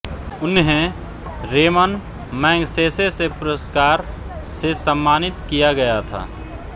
उन्हें Ramon Magsaysay पुरस्कार से सम्मानित किया गया था